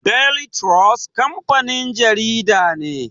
Daily trust kamfanin jarida ne.